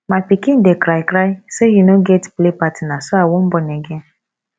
my pikin dey cry cry say he no get play partner so i wan born again